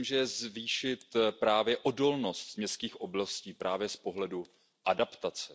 Myslím, že zvýšit právě odolnost městských oblastí z pohledu adaptace.